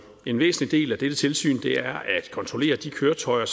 en væsentlig del af dette tilsyn er at kontrollere de køretøjer